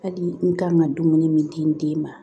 Hali n kan ka dumuni min di n den ma